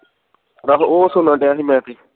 ਉਹ ਸੁਨਣ ਦਿਆਂ ਸੀ ਮੈਂ ਤੇ